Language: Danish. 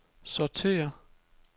sortér